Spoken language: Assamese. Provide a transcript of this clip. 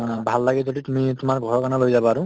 অ, ভাল লাগে যদি তুমি তোমাৰ ঘৰৰ কাৰণেও লৈ যাবা আৰু